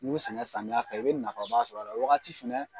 N'u y'u sɛnɛ samiyɛ fɛ, i bi nafaba sɔrɔ la, o wagati fɛnɛ